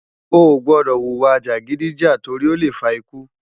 Oógbòdò wúwa jágidijá tòri ólé fá ikú